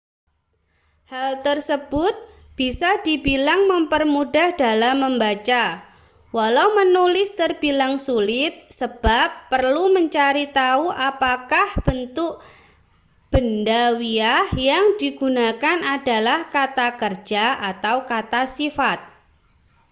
hal tersebut bisa dibilang mempermudah dalam membaca walau menulis terbilang sulit sebab perlu mencari tahu apakah bentuk bendawiah yang digunakan adalah kata kerja atau kata sifat